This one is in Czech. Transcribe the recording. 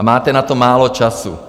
A máte na to málo času.